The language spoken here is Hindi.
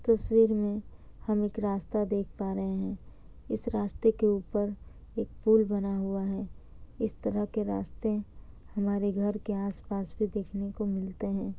तस्वीर में हम एक रास्ता देख पा रहे हैं। इस रास्ते के ऊपर एक पुल बना हुआ है। इस तरह के रास्ते हमारे घर के आस-पास ही देखने को मिलते हैं।